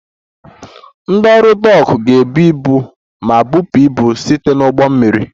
Ndị ọrụ Dock ga-ebu ibu ma bupụ ibu site na ụgbọ mmiri